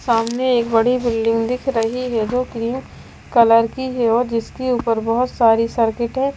सामने एक बड़ी बिल्डिंग दिख रही है जो क्रीम कलर की है और जिसकी ऊपर बहुत सारी सर्किट है।